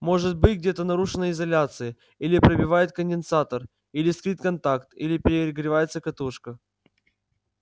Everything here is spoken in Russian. может быть где-то нарушена изоляция или пробивает конденсатор или искрит контакт или перегревается катушка